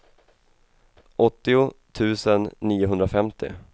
åttio tusen niohundrafemtio